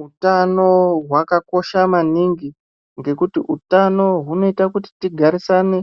Wutano wakakosha maningi, ngekuti wutano wunoyita kuti tigarisane